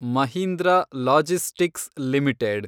Mahindra logistics limited